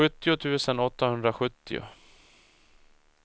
sjuttio tusen åttahundrasjuttio